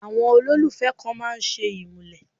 Àwọn olólùfẹ́ kan máa ń ṣe ìmúlẹ̀.